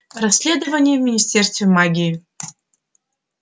расследование в министерстве магии